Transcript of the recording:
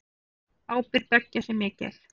Ábyrgð beggja sé mikil.